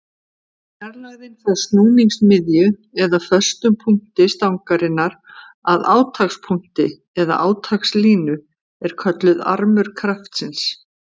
Fjarlægðin frá snúningsmiðju eða föstum punkti stangarinnar að átakspunkti eða átakslínu er kölluð armur kraftsins.